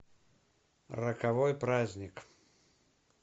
роковой праздник